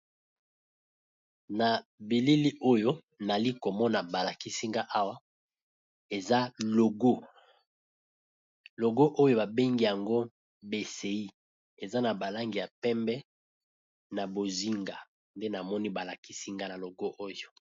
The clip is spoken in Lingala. Na bileli oyo nali komona balakisinga awa eza logo logo oyo babengi yango bsi eza na balangi ya pembe na bozinga nde namoni balakisinga na logo oyo.